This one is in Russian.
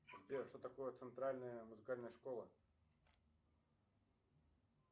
сбер что такое центральная музыкальная школа